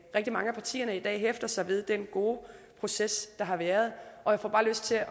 rigtig mange af partierne i dag hæfter sig ved den gode proces der har været og jeg får bare lyst til at